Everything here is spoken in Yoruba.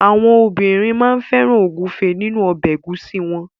Àwọn obìnrin máa ń fẹ́ràn ògúnfe nínu ọbẹ̀ ẹ̀gúsí wọn.